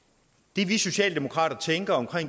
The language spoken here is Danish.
det vi socialdemokrater tænker om